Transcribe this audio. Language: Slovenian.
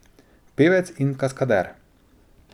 Pevec in kaskader.